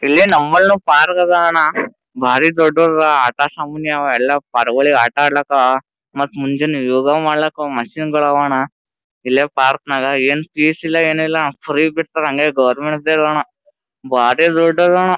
ಇಲ್ಲೇ ನಮ್ಮಲ್ನು ಪಾರ್ಕ ಅದಾವ ಅಣ್ಣ ಭಾರಿ ದೊಡ್ಡವ ಅದಾ ಆಟ ಸಾಮಾನ್ ಅವು ಎಲ್ಲ ಪರಿಗೊಳಿಗ ಆಟ ಅಡ್ಲಿಕ್ಕ ಮತ್ತ ಮುಂಜಾನೆ ಯೋಗ ಮಾಡ್ಲಿಕ್ಕೂ ಹೊಗಿ ಮಶೀನ್ ಗಳ್ ಆವಾ ಅಣ್ಣ ಇಲ್ಲೇ ಪಾರ್ಕ್ನಗ ಏನ್ ಫೀಸ ಇಲ್ಲ ಏನಿಲ್ಲ ಅಣ್ಣ‌ ಫ್ರಿ ಬಿಟ್ಟಾರ ಹಂಗೆ ಗವರ್ನಮೆಂಟ್ದು ಅದಾ ಅಣ್ಣಾ ಬಾರಿ ದೊಡ್ಡದ್ ಅದಾ ಅಣ್ಣ.